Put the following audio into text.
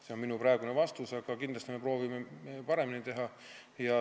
See on minu praegune vastus, aga kindlasti me proovime seda paremini teha.